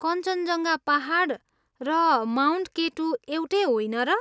कञ्चनजङ्गा पाहाड र Mount K two एउटै होइन र?